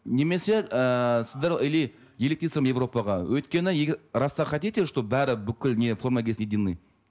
немесе ііі сіздер или еліктейсіздер ме европаға өйткені раз так хотите чтобы бәрі бүкіл не форма кисін единный